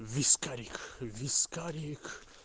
вискарик вискарик